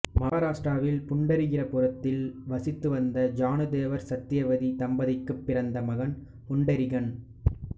மகாராட்டிராவில் புண்டரீகபுரத்தில் வசித்து வந்த ஜானுதேவர் சத்யவதி தம்பதிக்குப் பிறந்த மகன் புண்டரீகன்